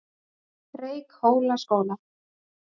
Reykhólaskóla